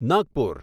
Nagpur